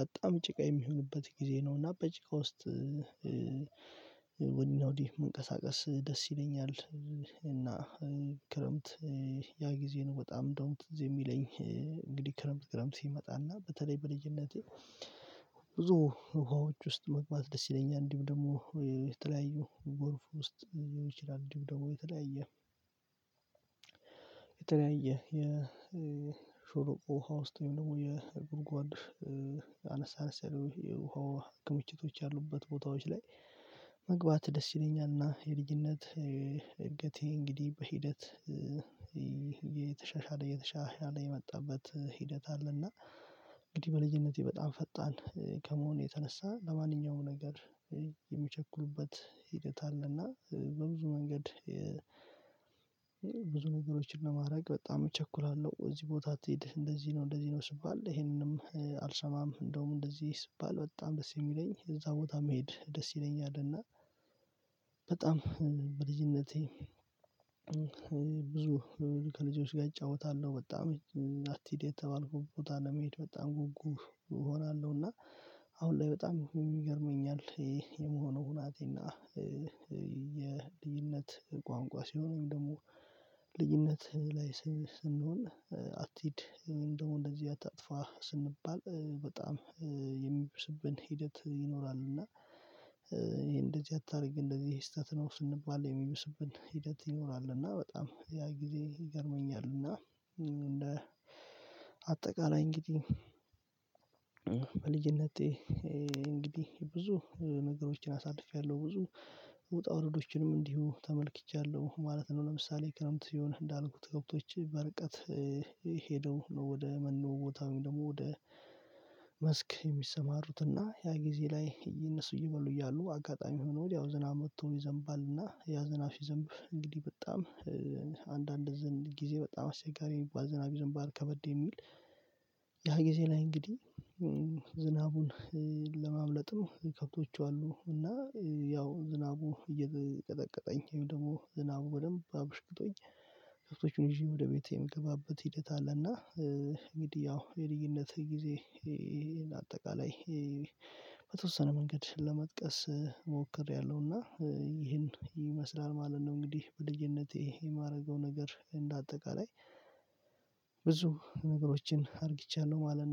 በጣም ጭቃ የሚሆንበት ጊዜ ነው እና በጭቃ ውስጥ ነው ወዲህ መንቀሳቀስ ደስ ይለኛል። እና ክረምት ያ ጊዜ ነው በጣም እንደውም ትዝ የሚለኝ እንግዲህ ክረምት ክረምት ሲመጣና በተለይ በልጅነቴ ብዙ ውሃዎች ውስጥ መግባት ደስ ይለኛል እንዲሁ ደግሞ የተለያዩ ጎርፍ ውስጥ ሊሆን ይችላል እንዲሁ ደግሞ የተለያየ የተለያየ የሾሮ ውሃ ውስጥ ወይም ደግሞ የጉድጓድ አነሳስ አነስ ያሉ የውሃ ክምችቶች ያሉበት ቦታዎች ላይ መግባት ደስ ይለኛል። እና የልጅነት እድገቴ እንግዲህ በሂደት የተሻሻለ የመጣበት ሂደት አለና እንግዲህ በልዩነቴ በጣም ፈጣን ከመሆኔ የተነሳ ለማንኛውም ነገር የምቸኩት ሂደት አለና በብዙ መንገድ ብዙ ነገሮችን ለማድረግ በጣም እቸኩላለሁ። እዚህ አትሄድ እንደዚህ ነው እንደዚህ ነው ስትባል ይሄንንም አልሰማም እንደውም እንደዚህ ይባል በጣም ደስ የሚለኝ እዛ ቦታ መሄድ ደስ ይለኛል። እና በጣም በልጅነቴ ብዙ ከልጆች ጋር እጫወታለሁ በጣም አትሂድ የተባልኩት ቦታ ለመሄድ በጣም ጉጉ እሆናለሁ። እና አሁን ላይ በጣም ይገርመኛል የመሆኑ ሁናቴ እና የልዩነት ቋንቋ ሲሆን ደግሞ ልዩነት ላይ ስንሆን አትሂድ እንደው እንደዚህ አታጥፋ ስንባል በጣም የሚብስብን ሂደት ይኖራል እና እንደዚህ አታድርግ እንደዚህ ስህተት ነው ስንባል የሚበስብን ሂደት ይኖራል እና በጣም ያ ጊዜ ይገርመኛል። እና እንደ አጠቃላይ እንግዲህ በልጅነቴ እንግዲህ ብዙ ነገሮችን አሳድፌያለሁ ብዙ ውጣ ውረዶችንም እንዲሁ ተመልክቻለሁ ማለት ነው። ለምሳሌ ክረምት የሆነ እንዳልኩት ከብቶቼ በርቀት ሄደው ወደ መኖ ቦታውም ደግሞ ወደ መስክ የሚሰማሩትና ያ ጊዜ ላይ የነሱ እየበሉ እያሉ አጋጣሚ ሆኖ ወዲያው ዝና ዝናብ ወጥቶ ይዘንባልና ያ ዝናብ ሲዘንብ እንግዲህ በጣም አንዳንድ ዝን ጊዜ በጣም አስቸጋሪ ባዝናቢ ዝን ባል ከበድ የሚል ያ ጊዜ ላይ እንግዲህ ዝናቡን ነው ከብቶቹ አሉ እና ያው ዝናቡ እየቀጠቀጠኝ ወይም ደግሞ ዝናቡ በደንብ አበሽቅጦኝ ከብቶቼን ይዤ ወደ ቤቴ የምገባበት ሂደት አለና እንግዲህ ያው የድይነት ጊዜ አጠቃላይ በተወሰነ መንገድ ለመጥቀስ ሞክሬያለሁና ይሄን ይመስላል ማለት ነው። እንግዲህ በልጅነቴ የማደርገው ነገር እንደ አጠቃላይ ብዙ ነገሮችን አድርጊቻለሁ ማለት ነው